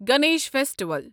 Ganesh festival